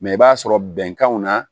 Mɛ i b'a sɔrɔ bɛnkanw na